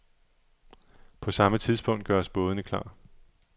På samme tidspunkt gøres bådene klar.